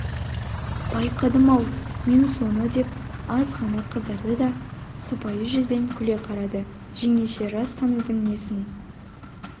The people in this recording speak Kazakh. байқадым-ау мен соны деп аз ғана қызарды да сыпайы жүзбен күле қарады жеңеше рас таныдың несін